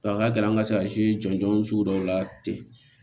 A ka gɛlɛn an ka se jɔnjɔn sugu dɔw la ten